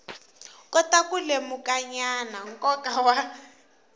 kota ku lemukanyana nkoka wa